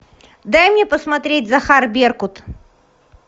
дай мне посмотреть захар беркут